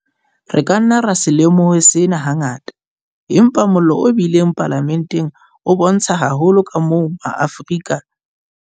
Re ka nna ra se lemohe sena hangata, empa mollo o bileng Palamenteng o bontsha haholo kamoo ma Afrika